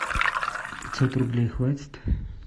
пятьсот рублей хватит